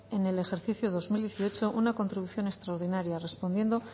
en el ejercicio dos mil dieciocho una contribución extraordinaria respondiendo